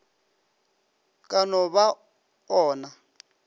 ka no ba o na